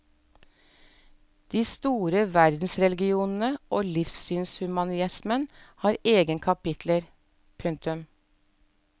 De store verdensreligionene og livssynshumanismen har egne kaptiler. punktum